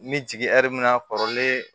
N bɛ jigin mun na kɔrɔlen